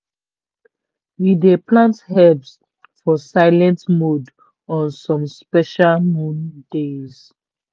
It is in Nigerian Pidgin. we dey plant herbs for silent mode on some special moon days.